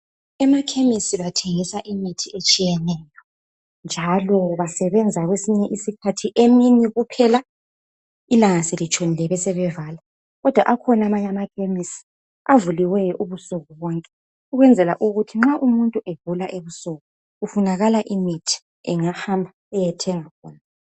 emakhemesi bathengisa imithi etshiyeneyo njalo basebenza kwesinye isikhathi emini kuphela ilanga selitshonile besebevala akhona amanye amakhemesi avuliweyo ubusuku bonke ukwenzela ukuthi nxa umuntu egula ebusuku kufunakala imithi ungahamab uyethenga khona